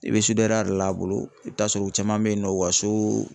I bɛ de la a bolo i bɛ taa sɔrɔ u caman bɛ yen nɔ u ka so